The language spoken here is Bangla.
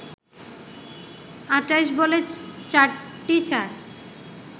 ২৮ বলে ৪টি চার